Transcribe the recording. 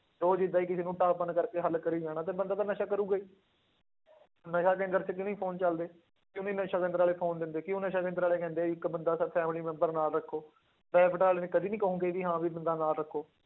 ਰੋਜ਼ ਏਦਾਂ ਹੀ ਕਿਸੇ ਨੂੰ ਢਾਹ ਭੰਨ ਕਰਕੇ ਹੱਲ ਕਰੀ ਜਾਣਾ ਫਿਰ ਬੰਦਾ ਤਾਂ ਨਸ਼ਾ ਕਰੇਗਾ ਹੀ ਨਸ਼ਾ ਕੇਂਦਰ 'ਚ ਕਿਉਂ ਨੀ phone ਚੱਲਦੇ, ਕਿਉਂ ਨੀ ਨਸ਼ਾ ਕੇਂਦਰ ਵਾਲੇ phone ਦਿੰਦੇ, ਕਿਉਂ ਨਸ਼ਾ ਕੇਂਦਰ ਵਾਲੇ ਕਹਿੰਦੇ ਆ ਇੱਕ ਬੰਦਾ ਸਿਰਫ਼ family ਮੈਂਬਰ ਨਾਲ ਰੱਖੋ private ਵਾਲੇ ਕਦੇ ਨੀ ਕਹੋਂਗੇ ਵੀ ਹਾਂ ਵੀ ਬੰਦਾ ਨਾਲ ਰੱਖੋ।